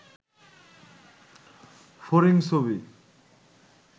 ফড়িং ছবি